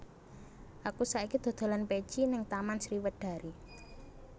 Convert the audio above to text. Aku saiki dodolan peci ning Taman Sriwedari